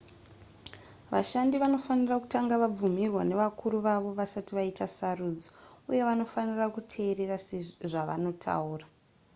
vashandi vanofanira kutanga vabvumirwa nevakuru vavo vasati vaita sarudzo uye vanofanira kuteerera zvavanotaura